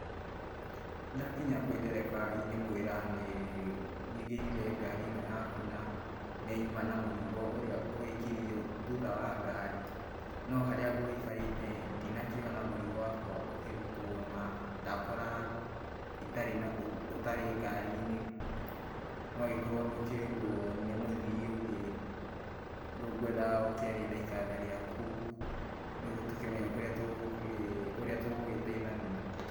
Ndakinya kwĩ ndereba ingĩmwĩra nĩ njingĩrire ngari ĩno yaku na nĩ nyuma na mũrigo ũrĩa wikirwo thutha wa ngari ,no harĩa ngũikarĩte ndina kĩona mũrigo wakwa ũkĩrũtwo na ndakora ũtarĩ ngari-inĩ no ũgĩkorwo nĩ ũkĩoirwo nĩ mũthiĩ ũngĩ rĩu kwendaga ũkĩarie na ikanga rĩaku nĩgũo tũkĩmenye ũrĩa tũgũgĩteithania.